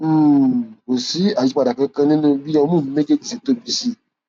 um kò sí àyípadà kankan nínú bí ọmú mi méjèèjì ṣe tóbi sí